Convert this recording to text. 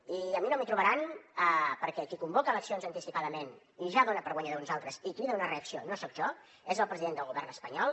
i a mi no m’hi trobaran perquè qui convoca eleccions anticipadament i ja dona per guanyador uns altres i crida a una reacció no soc jo és el president del govern espanyol